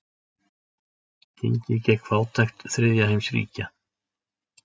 Gengið gegn fátækt þriðja heims ríkja.